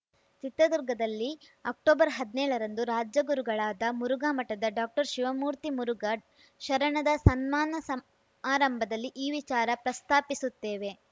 ಚಿತ್ರದುರ್ಗದಲ್ಲಿ ಅಕ್ಟೊಬರ್ಹದ್ನೇಳರಂದು ರಾಜ ಗುರುಗಳಾದ ಮುರುಘಾ ಮಠದ ಡಾಕ್ಟರ್ಶಿವಮೂರ್ತಿ ಮುರುಘಾ ಶರಣದ ಸನ್ಮಾನ ಸಮಾರಂಭದಲ್ಲಿ ಈ ವಿಚಾರ ಪ್ರಸ್ತಾಪಿಸುತ್ತೇವೆ